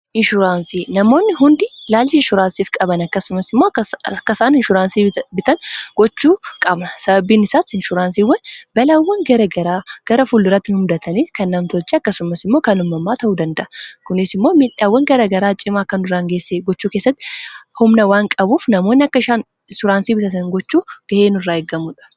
inshurnsii namoonni hundi laalchi inshuuraansiif qaban akkasumas immoo akka isaan insuuraansii bitan gochuu qaba sababiin isaai inshuraansiiwwan balaawwan garagaraa gara fulduratti hin mudatanii kan namtoche akkasumas immoo kan hummammaa ta'uu danda'a kunis immoo miidhaawwan garagaraa cimaa kan duraangeesse gochuu keessatti humna waan qabuuf namoonni akka ainsuraansii bitatan gochuu ga'eenu irraa eeggamuudha